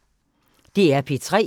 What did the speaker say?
DR P3